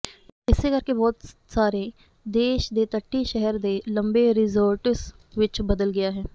ਇਸੇ ਕਰਕੇ ਬਹੁਤ ਸਾਰੇ ਦੇਸ਼ ਦੇ ਤੱਟੀ ਸ਼ਹਿਰ ਦੇ ਲੰਬੇ ਰਿਜ਼ੋਰਟਜ਼ ਵਿੱਚ ਬਦਲ ਗਿਆ ਹੈ